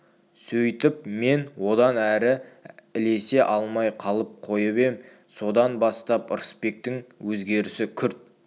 сөйтіп мен одан әрі ілесе алмай қалып қойып ем содан бастап ырысбектің өзгерісі күрт